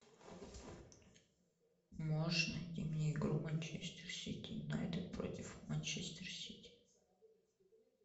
можешь найти мне игру манчестер сити юнайтед против манчестер сити